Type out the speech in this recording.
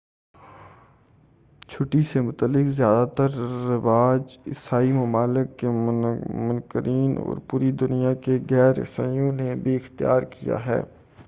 چھٹی سے متعلق زیادہ تر رواج عیسائی ممالک کے منکرین اور پوری دنیا کے غیر عیسائیوں نے بھی اختیار کیا ہے